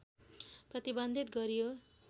प्रतिबन्धित गरियो